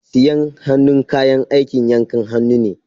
Sayen hannu kayan aikin yankan hannu ne.